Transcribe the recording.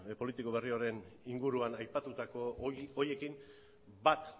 politiko berri horren inguruan aipatutako horiekin bat